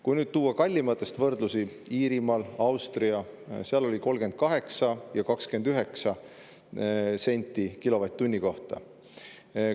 Kui tuua võrdlusi kallimate, siis Iirimaal ja Austrias oli see 38 ja 29 senti kilovatt-tunni kohta.